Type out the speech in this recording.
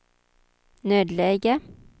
nödläge